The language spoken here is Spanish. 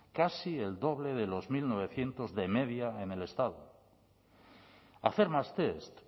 casi el doble de los mil novecientos de media en el estado hacer más test